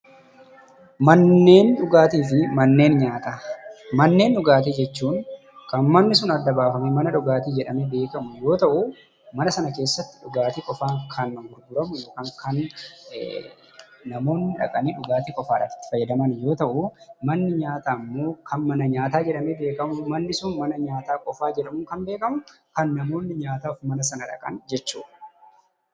Manneen dhugaatii jechuun kan manni sun adda baafamee mana dhugaatii jedhamee beekamu yoo ta'u, mana sana keessattis dhugaatii qofaan kan gurguramu yookiin kan namoonni dhaqanii dhugaatii qofaadhaaf itti fayyadamu. Manneen nyaataa immoo kan mana nyaataa qofaa jedhamee beekamu; kan namoonni nyaataaf mana sana dhaqan jechuudha.